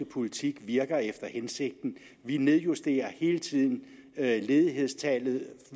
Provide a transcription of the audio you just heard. politik virker efter hensigten vi nedjusterer hele tiden ledighedstallet